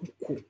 Ko